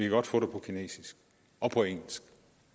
godt få det på kinesisk og på engelsk